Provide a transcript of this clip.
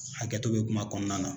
Hakɛto bɛ kuma kɔnɔna na.